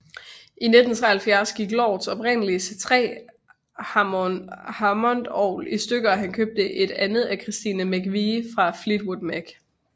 I 1973 gik Lords oprindelige C3 hammondorgel i stykker og han købte et andet af Christine McVie fra Fleetwood Mac